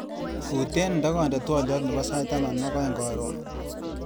Kuten ndakande twaliot nebo sait taman ak aeng karon.